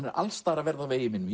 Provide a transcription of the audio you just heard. er alls staðar að verða á vegi mínum